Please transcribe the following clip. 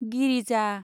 Girija